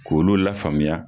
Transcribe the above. K'olu lafaamuya.